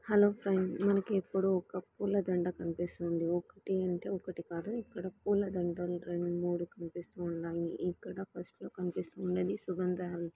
Hello friends మనకు ఇప్పుడు పూలదండ కనిపిస్తుంది. ఒకటి అంటే ఒకటి కాదు ఇక్కడ పూలదండ రెండు మూడు కనిపిస్తున్నాయి ఇక్కడ ఫస్ట్ కనిపిస్తుంది సుగంధ --